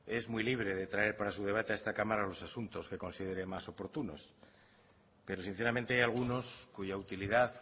es muy libre de traer para su debate los asuntos que considere más oportunos pero sinceramente hay algunos cuya utilidad